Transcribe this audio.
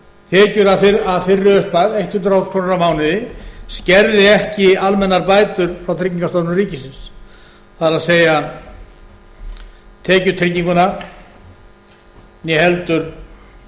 tekjur að þeirri upphæð hundrað þúsund krónur á mánuði skerði ekki almennar bætur frá tryggingastofnun ríkisins það er tekjutenginguna